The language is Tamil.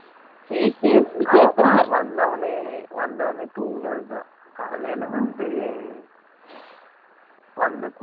ஆமா பா! வந்த வுடனெ தூங்குனது தான் காலைல வந்து வந்த வுடனே குலிச்சுட்டு